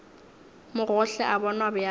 mo gohle o bonwa bjalo